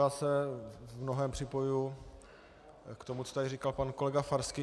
Já se v mnohém připojuji k tomu, co tady říkal pan kolega Farský.